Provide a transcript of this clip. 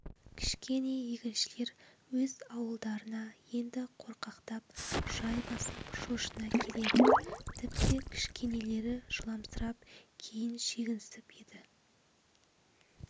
кішкене егіншілер өз ауылдарына енді қорқақтап жай басып шошына келеді тіпті кішкенелері жыламсырап кейін шегінісіп еді